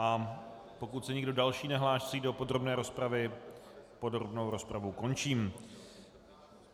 A pokud se nikdo další nehlásí do podrobné rozpravy, podrobnou rozpravu končím.